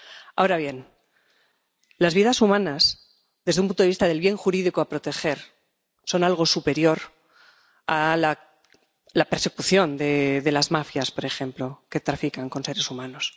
Ahora bien, las vidas humanas, desde un punto de vista del bien jurídico a proteger, son algo superior a la persecución de las mafias, por ejemplo, que trafican con seres humanos.